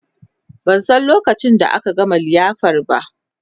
ban San lokacin da aka gama liyafar ba